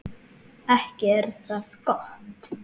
Ekki er það gott!